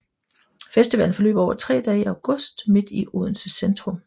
Festivalen forløber over tre dage i august midt i Odense centrum